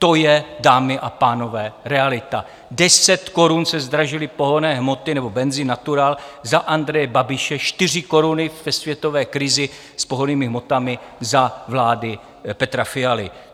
To je, dámy a pánové, realita, 10 korun se zdražily pohonné hmoty nebo benzin natural za Andreje Babiše, 4 koruny ve světové krizi s pohonnými hmotami za vlády Petra Fialy.